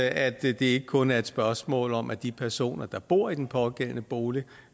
at det ikke kun er et spørgsmål om at de personer der bor i den pågældende bolig